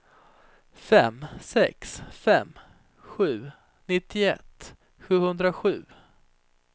fem sex fem sju nittioett sjuhundrasju